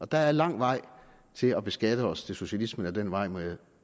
der er lang vej til at beskatte os til socialisme ad den vej må jeg